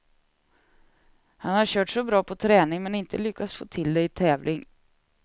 Han har kört så bra på träning, men inte lyckats få till det i tävling.